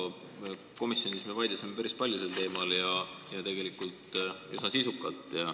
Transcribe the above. Hea Marko, komisjonis me vaidlesime päris palju sel teemal ja tegelikult üsna sisukalt.